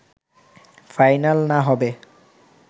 final না হবে